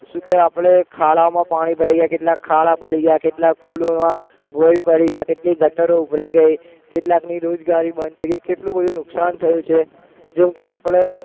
શું કઈ આપણે ખાડામાં પાણી ભરાઈ ગયા કેટલાક ખાડા પડી ગયા કેટલાક પુલોમા ભોંય પડી ગયા કેટલીક ગટર ઉભરાઈ ગઈ કેટલાકની રોજગારી બંધ થઇ ગઈ, કેટલુ બધું નુકસાન થયું છે જેમકે આપણે